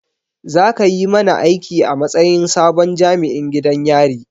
Za ka yi mana aiki a matsayin sabon jami'in gidan yari